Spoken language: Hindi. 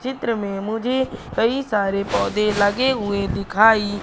चित्र में मुझे कई सारे पौधे लगे हुए दिखाई--